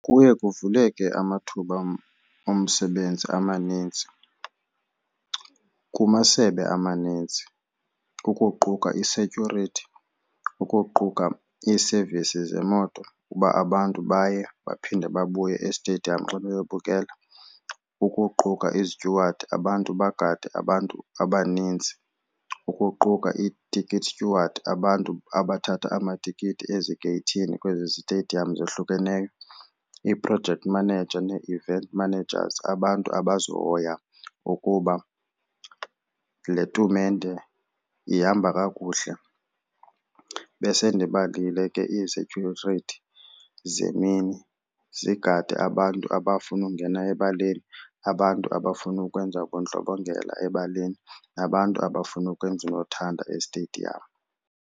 Kuye kuvuleke amathuba omsebenzi amanintsi kumasebe amanintsi ukuquka i -security, ukuquka i-service zemoto uba abantu baye baphinde babuye estediyamu xa beyobukela, ukuquka i-steward abantu bagade abantu abaninzi, ukuquka i-ticket steward abantu abathatha amatikiti ezigeythini kwezi zitediyamu zohlukeneyo, ii-project managers nee-event managers abantu abazohoya ukuba le tumente ihamba kakuhle. Besendibalile ke i-securities zemini zigade abantu abafuna ukungena ebaleni, abantu abafuna ukwenza ubundlobongela ebaleni nabantu abafuna ukwenza unothanda estediyamu.